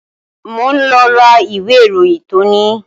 Mo ń lọ ra ìwé ìròyìn tòní